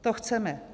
To chceme.